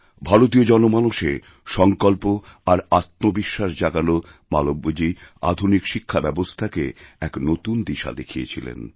ভারতীয় জনমানসে সংকল্প আর আত্মবিশ্বাস জাগানোমালব্যজী আধুনিক শিক্ষাব্যবস্থাকে এক নতুন দিশা দেখিয়েছিলেন